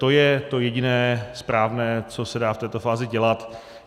To je to jediné správné, co se dá v této fázi dělat.